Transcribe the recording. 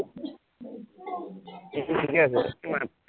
এতিয়া ঠিকে আছে কিমান